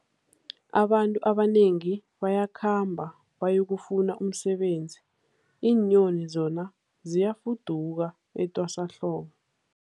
Abantu abanengi bayakhamba bayokufuna umsebenzi, iinyoni zona ziyafuduka etwasahlobo.